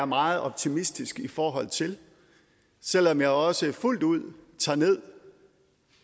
meget optimistisk i forhold til selv om jeg også fuldt ud tager